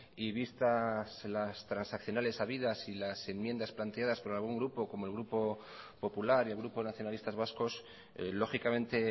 y vistas las transaccionales habidas y las enmiendas planteadas por algún grupo como el grupo popular y el grupo nacionalistas vascos lógicamente